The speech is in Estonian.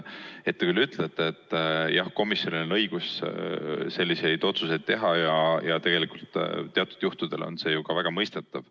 Te küll ütlete, et komisjonil on õigus selliseid otsuseid teha ja tegelikult teatud juhtudel on see ju ka väga mõistetav.